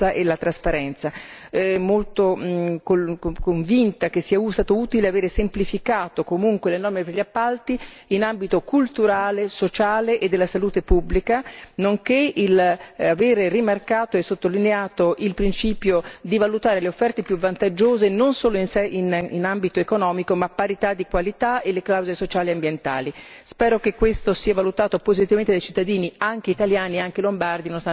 Sono anche molto convinta che sia stato utile avere semplificato, comunque, le norme per gli appalti in ambito culturale, sociale e della salute pubblica, nonché l'avere rimarcato e sottolineato il principio di valutare le offerte più vantaggiose, non solo in ambito economico ma a parità di qualità e le clausole sociali e ambientali. Spero che questo sia valutato positivamente dai cittadini, anche italiani, anche lombardi, nonostante quello che dice il collega Salvini.